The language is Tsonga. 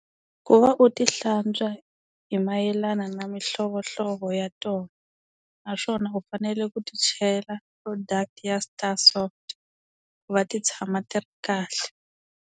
Ku va u ti hlantswa hi mayelana na mihlovohlovo ya tona, naswona u fanele ku ti chela product ya Sta-Soft ku va ti tshama ti ri kahle.